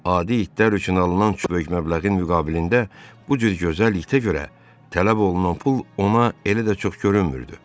Adi itlər üçün alınan çox böyük məbləğin müqabilində bu cür gözəl itə görə tələb olunan pul ona elə də çox görünmürdü.